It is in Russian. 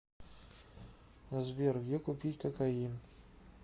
сбер где купить кокаин